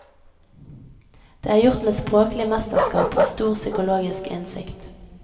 Det er gjort med språklig mesterskap og stor psykologisk innsikt.